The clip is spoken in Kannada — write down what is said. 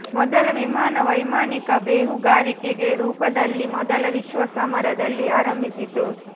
ಮೊದಲ ವಿಮಾನ ವೈಮಾನಿಕ ಬೇಹುಗಾರಿಕೆಗೆ ರೂಪದಲ್ಲಿ ಮೊದಲ ವಿಶ್ವ ಸಮರದಲ್ಲಿ ಆರಂಭಿಸಿತು